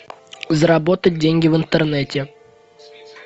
заработать деньги в интернете